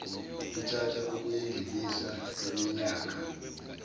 luthatha ukuyingiliza kweminyaka